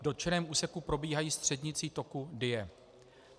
V dotčeném úseku probíhají střednicí toku Dyje.